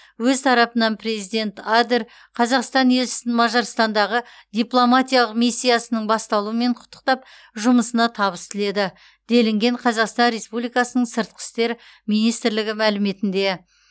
өз тарапынан президент адер қазақстан елшісін мажарстандағы дипломатиялық миссиясының басталуымен құттықтап жұмысына табыс тіледі делінген қазақстан республикасы сыртқы істер министрлігі мәліметінде